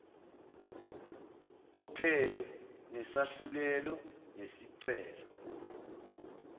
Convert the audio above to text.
wophenyo nesahlulelo ngesicelo